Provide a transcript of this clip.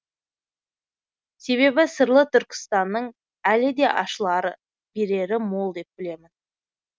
себебі сырлы түркістанның әлі де ашылары берері мол деп білемін